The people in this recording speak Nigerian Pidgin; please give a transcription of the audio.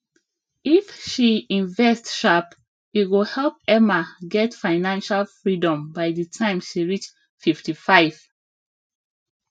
if she invest sharp e go help emma get financial freedom by the time she reach 55